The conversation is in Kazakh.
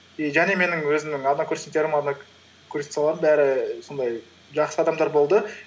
и және менің өзімнің однокурсниктерім однокурсницаларым бәрі сондай жақсы адамдар болды